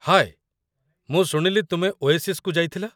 ହାଏ, ମୁଁ ଶୁଣିଲି ତୁମେ ଓଏସିସ୍‌କୁ ଯାଇଥିଲ